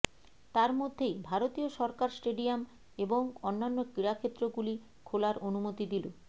তার মধ্যেই ভারতীয় সরকার স্টেডিয়াম এবং অন্যান্য ক্রীড়াক্ষেত্র গুলি খোলার অনুমতি দিল